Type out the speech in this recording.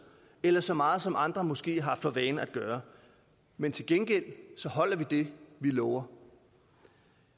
eller så meget som andre måske har for vane at gøre men til gengæld holder vi det vi lover